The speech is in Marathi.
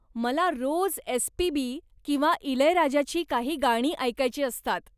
मला रोज एस. पी. बी. किंवा इलयराजाची काही गाणी ऐकायची असतात.